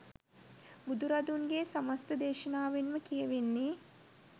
බුදුරදුන්ගේ සමස්ත දේශනාවෙන්ම කියැවෙන්නේ